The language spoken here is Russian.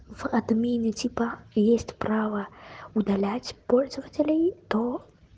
в отмените типа есть право удалять пользователей то